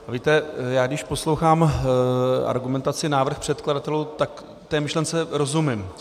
Víte, já když poslouchám argumentaci, návrh předkladatelů, tak té myšlence rozumím.